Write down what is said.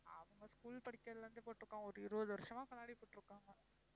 அவங்க school படிக்கறதுல இருந்தே போட்டிருக்காங்க. ஒரு இருவது வருஷமா கண்ணாடி போட்டிருக்காங்க.